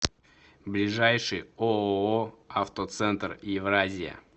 ближайший ооо автоцентр евразия